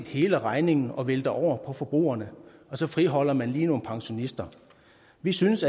hele regningen og vælter den over på forbrugerne og så friholder man lige nogle pensionister vi synes